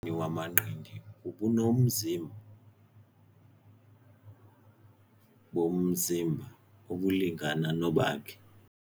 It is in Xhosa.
wamanqindi ubunomzima bomzimba obulingana nobakhe.